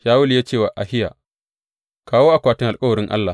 Shawulu ya ce wa Ahiya, Kawo akwatin alkawarin Allah.